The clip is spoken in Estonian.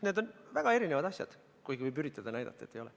Need on väga erinevad asjad, kuigi võib üritada näidata, et ei ole.